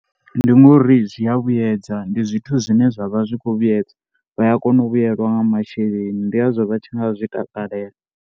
Ndi ngori zwi a vhuyedza ndi zwithu zwine zwa vha zwi khou vhuyedza vha a kona u vhuyelwa nga masheleni ndi ngazwo vha tshi nga zwi takalela.